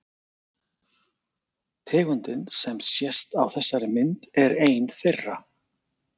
Tegundin sem sést á þessari mynd er ein þeirra.